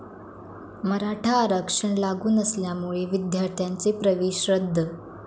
मराठा आरक्षण लागू नसल्यामुळे विद्यार्थ्यांचे प्रवेश रद्द